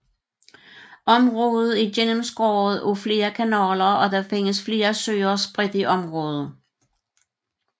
Området er gennemskåret af flere kanaler og der findes flere søer spredt i området